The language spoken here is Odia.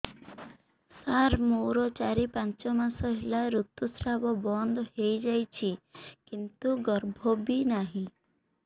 ସାର ମୋର ଚାରି ପାଞ୍ଚ ମାସ ହେଲା ଋତୁସ୍ରାବ ବନ୍ଦ ହେଇଯାଇଛି କିନ୍ତୁ ଗର୍ଭ ବି ନାହିଁ